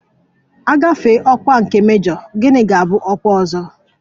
Mgbe ọkwa nke mejọ, gịnị ga-abụ ọkwa ọzọ?